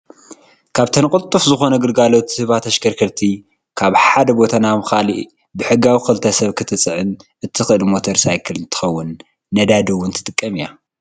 ካብተን ቅልጡፍ ዝኮነ ግልጋሎት ዝህባ ተሽከርከርቲ ካብ ሓደ ቦታ ናብ ካሊእ ብሕጋዊ ክልተ ሰብ ክትፅዕን እተክእል ሞተር ሳየክል እንትከውን ነዳዲ እወን ትጥቀም እያ።